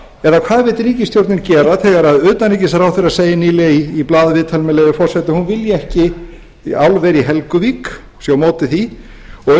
eða hvað vill ríkisstjórnin gera þegar utanríkisráðherra segir nýlega í blaðaviðtali með leyfi forseta að hún vilji ekki álver í helguvík sé á móti því og